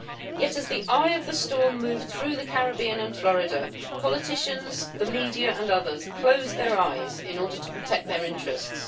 Yet as the eye of the storm moved through the Caribbean and Florida, politicians, the media and others closed their eyes in order to protect their interests.